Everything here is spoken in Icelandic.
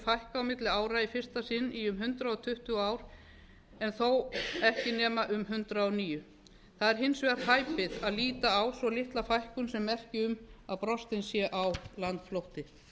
fækka á milli ára í fyrsta sinn í um hundrað tuttugu ár en þó ekki nema um hundrað og níu það er hins vegar hæpið að líta á svo litla fækkun sem merki um að brostinn sé á landflótti